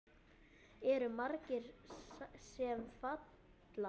Eru margir sem falla?